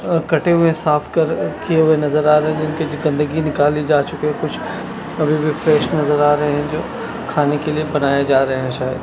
अह कटे हुए साफ कर किए हुए नजर आ रहे हैं जिनकी गंदगी निकली जा चुकी है कुछ अभी भी फ्रेश नजर आ रहे हैं जो खाने के लिए बनाए जा रहे हैं शायद।